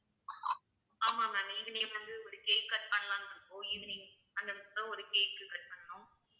ஆமாம் ma'am evening வந்து ஒரு cake cut பண்ணலாம்ன்னு இருக்கோம் evening அந்த இடத்தில ஒரு cake cut பண்ணனும்